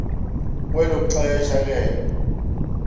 kwelo xesha ke